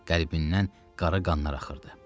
Qəlbindən qara qanlar axırdı.